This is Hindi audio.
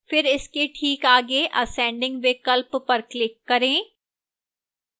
फिर इसके ठीक आगे ascending विकल्प पर click करें